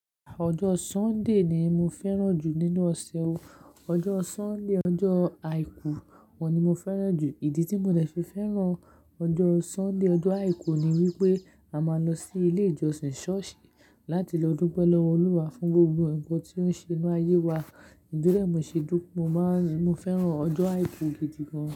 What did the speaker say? Ọjọ́ Sunday ni mo fẹ́ràn jù nínú ọ̀sẹ̀ o. Ọjọ́ Sunday, ọjọ́ àìkú òun ni mo fẹ́ràn jù. Ìdí tí mo dẹ̀ fi fẹ́ràn ọjọ́ Sunday, ọjọ́ àìkú ni wípé a máa ń lọ sí ilé ìjọsìn, ṣọ́ọ̀ṣì láti lọ dúpẹ́ lọ́wọ́ Olúwa fún gbogbo ǹkan tí ó ń ṣe nínú ayé wa. Nítorí ẹ̀ ni mo ṣe dún, mo máa ń, mo fẹ́ràn ọjọ́ àìkú gidi gan.